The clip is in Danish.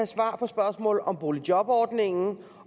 svar på spørgsmål om boligjobordningen